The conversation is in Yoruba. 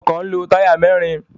Ọkọ̀ ń lo táyà mẹ́ẹ́rin.